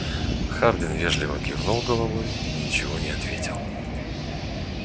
хардин вежливо кивнул головой и ничего не ответил